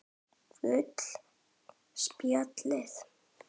Gul spjöld